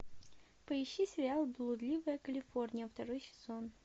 поищи сериал блудливая калифорния второй сезон